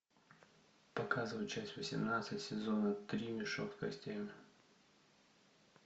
показывай часть восемнадцать сезона три мешок с костями